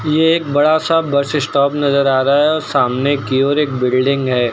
ये एक बड़ा सा बस स्टॉप नजर आ रहा है और सामने की ओर एक बिल्डिंग है।